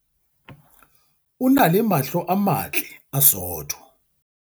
o na le mahlo a matle a sootho